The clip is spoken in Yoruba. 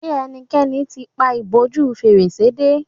ṣe ẹnikẹni t'in pá ìbòjú Fèrèsé dé